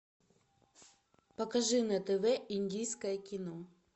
покажи на тв индийское кино